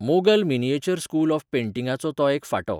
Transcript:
Mughal miniature school of पेंटिंगाचो तो एक फांटो.